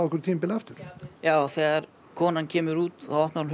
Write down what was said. aftur já þegar konan kemur út þá opnar hún